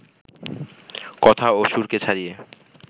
কথা ও সুরকে ছাড়িয়ে